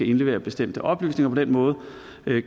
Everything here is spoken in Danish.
indlevere bestemte oplysninger og på den måde